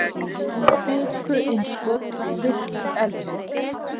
kviku-innskot virk eldfjöll